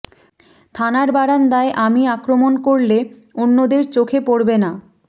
থানার বারান্দায় আমি আক্রমন করলে অন্যদের চোখে পড়বে না